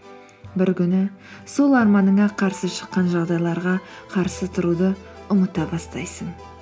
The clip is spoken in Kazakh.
бір күні сол арманыңа қарсы шыққан жағдайларға қарсы тұруды ұмыта бастайсың